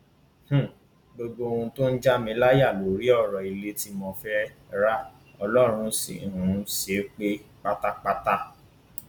um gbogbo ohun tó ń já mi láyà lórí ọrọ ilé tí mo fẹẹ ra ọlọrun sì um ṣe é pé pátápátá